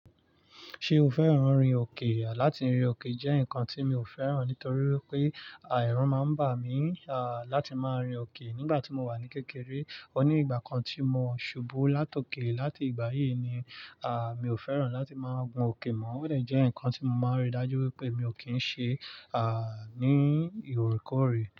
Ṣe o fẹ́ràn orin òkè? Látì rin òkè jẹ́ nǹkan tí mi ò fẹ́ràn nítorí pé eru máa ń bà mí láti máa rin òkè nígbà tí mo wà ní kékeré. O ní ìgbà kan tí mo ṣubú látòké láti ìgbà yìí ni à mí ò fẹ́ràn láti máa gun òkè mọ́. Ó de jẹ́ ǹkan tí mo máa rí dájú wípé mi ò kí ń ṣe à ní ìrékéórè.